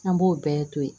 An b'o bɛɛ to yen